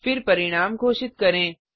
फिर परिणाम घोषित करें